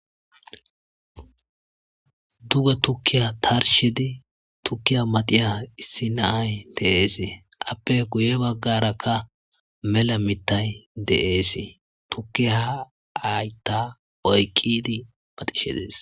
Duge tukiya tarshid tukiya maciya issi na'ay de'esi.